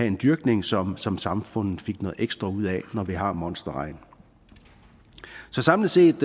en dyrkning som som samfundet fik noget ekstra ud af når vi har monsterregn så samlet set